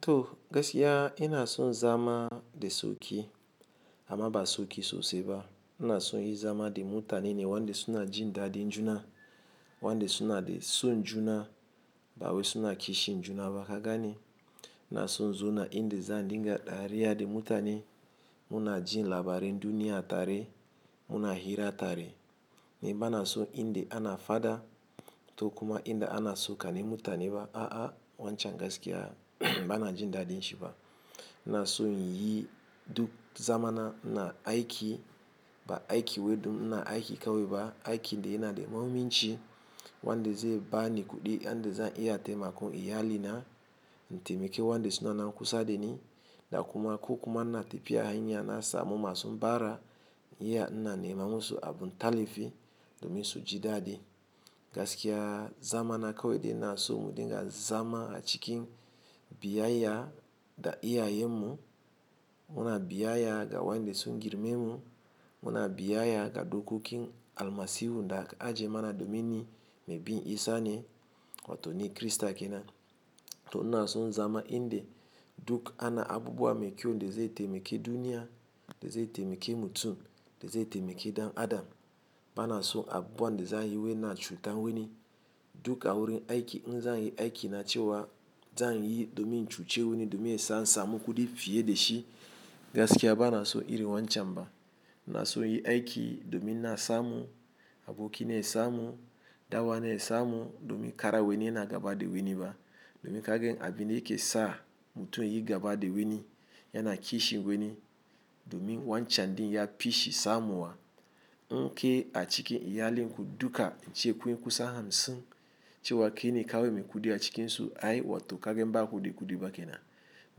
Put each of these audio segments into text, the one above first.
To gaskiya ina son zama da soki amma ba soki sosai ba. Inaso inyi zama da mutane ne wanda suna jin dadin juna, wanda suna da son juna, bawai suna kishin juna ba. Baka gane, ina son in zauna inda zan dinga dariya da mutane, muna jin labarai duniya tare, muna hira tare. Ni bana so inda ana fada ko kuma inda ana so ka ne mutane ba, a'a wancan gaskiya bana jin dadin shi ba. Ina son inyi duk zamana ina aiki, ba aiki wai don ina aiki kawai ba. Aiki dai yana da mahimmanci wanda zai bani kuɗi, inda zan iya taimakon iyalina, taimake wanda suna nan kusa da ni da kuma ko kuma na tafiya hanya na sa mu masu bara, iya na nema musu abun tallafi domin su ji dadi. Gaskiya zamana kawai dai na so mu dinga zama a cikin biyayya da iyayen mu, muna biyayya da wanda sun girmemu, muna biyayya ga dokokin al masihu da aka ajiye mana domin yi mai bin isah neh wato ni crister keanan to ina son zama inda duk ana abubuwa mai kyau da zai taimake duniya, da zai taimake mutum, da zai taimake ɗan Adam. Bana so abubuwan da za a yi wai na cutar wani duk a wurin aiki in zan yi aiki na ce wa zan yi domin cuci wani domin zan samu kuɗi fiye da shi. Gaskiya ba na so irin wancan ba. Ina son yi aiki domin na samu abokina ya samu, dan uwana ya samu domin kara wani yana gaba da wani ba. Domin kagen abin da yake sa mutum ya yi gaba da wani yana kishi wani domin wancan din ya fishi samu wa. In ke a cikin iyalinku duka ace kunyi kusan hamsin ce wa ke ne kawai mai kuɗi a cikinsu ai wato kagan ba kuɗi kuɗi ba ke nan.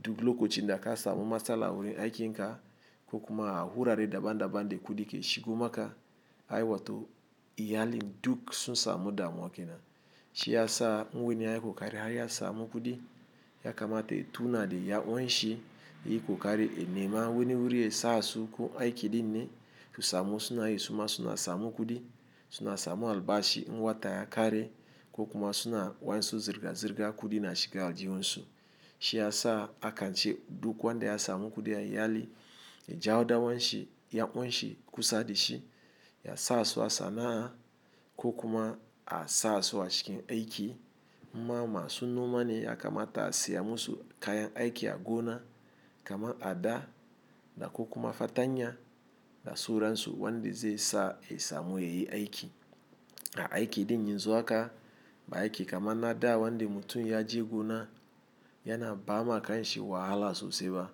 Duk lokacin da ka samu matsala wurin aiki in ka ko kuma a hura da daban daban da kuɗi ke shigo maka ai wato iyalin duk sun samu damuwa ke nan. Shi ya sa wani ya ƙoƙari har ya samu kuɗi ya kamata ya tuna da yan uwanshi, ya yi ƙoƙari nema wani wurin ya sa su ko aiki din ne su samu suna yi suna samu kuɗi, suna samu albashi. In wata ya kare ko kuma suna wa'insu zirga zirga kudi na shiga aljihunsu. Shi ya sa akan ce duk wanda ya samu kuɗi a iyali ya jawo dawan shi yan uwanshi kusa da shi, ya sa su a sana'a ko kuma a sa su a cikin aiki. Inma masu noma ne ya kamata a siya musu kayan aiki a gona kamar ada da ko kuma fatanya da suransu wanda zai sa ya samu ya yi aiki. A aiki din yanzu haka, ba aiki kaman na da wanda mutun yaje gona yana bama kanshi wahala sosai ba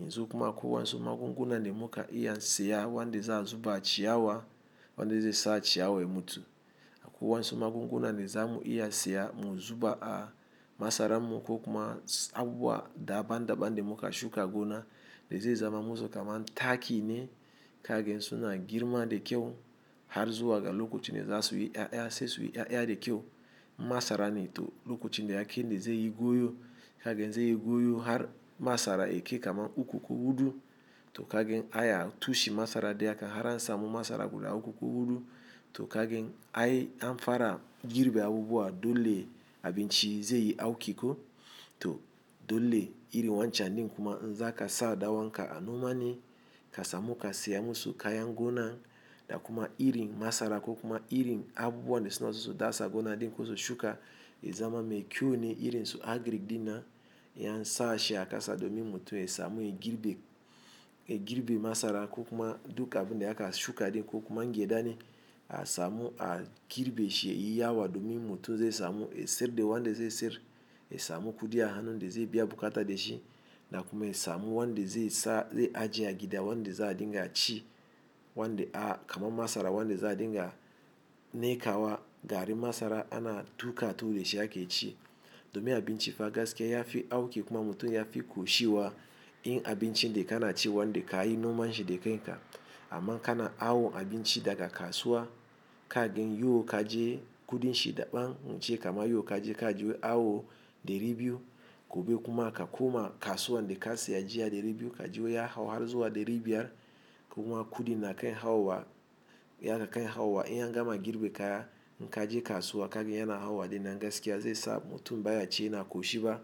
yanzu kuwa akwai wasu magunguna da muka iya siya wanda za su ba ciyawa, wanda zai sa ciyawa ya mutu. Akwai wasu magunguna da za mu iya siya mu zuba a masara mu ko kuma a daban daban da muka shuka gona da zai zaman musu kaman taki ne kaga suna girma da kyau har zuwa ga lokacin da zasuyi 'ya'ya, sai suyi 'ya'ya da kyau. In masara ne toh lokacin da ya kai neh zaiyi goyo kaga zaiyi goyo har masara yakai uku, hudu, to kaga ai a tushen masara dai haka har in samu masara guda uku hudu, to kagan ai abun har fara girbe abubuwan dole abinci zaiyi auki ko, toh dole irin wancen din kuma in zaka sa dan uwan ka a noma neh kasamu ka siyar musu kayan 'Yan gonan da kuma irin masara ko kuma irin abubuwan da suna so su dasa a gona din ko su shuka yazama mai kyau neh irin agric dinnan, in an sashi a kasa domin ya samu ya girbe, ya girbe masara ko kuma duk abinda aka shuka din ko kuma in gyada ne a samu a girbe shi yayi yawa domin mutum zai samu ya siyar da wanda zai siyar ya samu kuɗi a hannun da zai biya bukata da shi da kuma ya samu wanda zai sa zai ajiye gida wanda za a dinga ci wanda a kama masara wanda za a dinga niƙawa gari masara ana tuka ta tuwo da shi ake ci. Domin abinci fa gaskiya ya fi auki kuma mutum ya fi ƙoshi wa in abincin da kana ci wanda ka yi nomanshi da kai ka. Amma kana hawo abinci daga kasuwa kagen yau ka je kuɗin shi daɓan wance kama yau ka je ka ji wai awo ɗari biyu gobe kuma aka kuma kasuwa da ka siya jiya ɗari biyu ka ji wai ya hawo har zuwa ɗari biyar kuma kuɗin naka ya hawo wa ya haka ya hawo wa. In ya gama girbe kaya in ka je kasuwa kagen yana hawo wa dai nan gaskiya zai sa mutum baya ci yana ƙoshi ba.